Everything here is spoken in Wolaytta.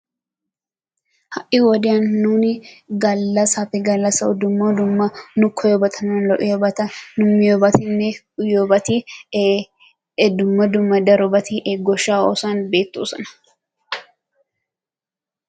ha'i wodiyan nuuni galasaappe galassawu Dumma dumma nu koyiyobata nuna lo'iyabata nu miyoobatinne uyiyobati ee Dumma dumma darobati goshaa oosuwan beetoosona.